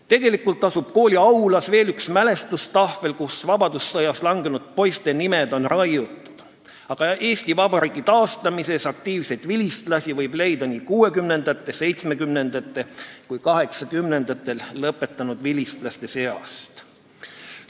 " Tegelikult asub kooli aulas veel üks mälestustahvel, kuhu on raiutud vabadussõjas langenud poiste nimed, aga Eesti Vabariigi taastamises aktiivseid vilistlasi võib leida nii 1960-ndatel, 1970-ndatel kui ka 1980-ndatel lõpetanud vilistlaste seast.